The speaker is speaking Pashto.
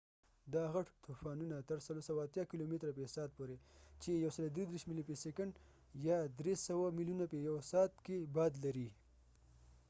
دا غټ طوفانونه تر ۴۸۰ کیلومتره في ساعت پورې ۱۳۳ ملي/سيکنډ، ۳۰۰ ميلونه په يوه سعت کي باد لري